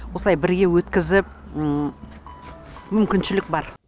осылай бірге өткізіп мүмкіншілік бар